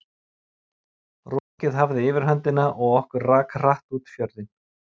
Rokið hafði yfirhöndina og okkur rak hratt út fjörðinn.